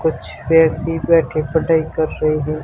कुछ व्यक्ति बैठे पढ़ाई कर रही है।